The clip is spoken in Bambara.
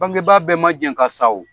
Bangebaa bɛɛ ma jɛn ka sa o.